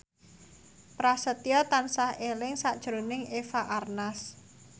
Prasetyo tansah eling sakjroning Eva Arnaz